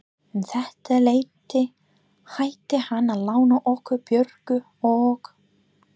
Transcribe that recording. Um þetta leyti hætti hann að lána okkur Björgu og